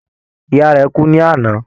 Ìyá rẹ̀ kú ní àná.